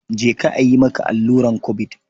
Je ka a yi maka alluran Kobid.